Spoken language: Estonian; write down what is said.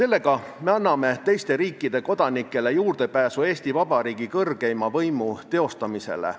Ka anname me nii teiste riikide kodanikele juurdepääsu Eesti Vabariigi kõrgeima võimu teostamisele.